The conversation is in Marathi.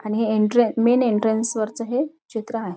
आणि हे एंट्रन मेन एंट्रन्स वरच हे चित्र आहे.